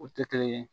O tɛ kelen ye